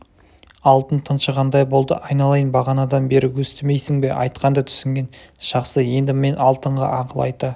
алтын тыншығандай болды айналайын бағанадан бері өстімейсің бе айтқанды түсінген жақсы енді мен алтынға ақыл айта